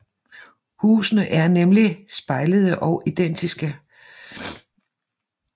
Husene er nemlig spejlede og identiske